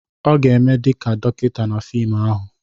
Ọ ga-eme dị ka dọkịta na fim ahụ.